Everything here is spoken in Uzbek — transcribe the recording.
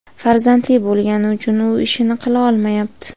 farzandli bo‘lgani uchun u ishini qila olmayapti.